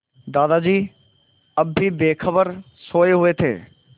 दादाजी अब भी बेखबर सोये हुए थे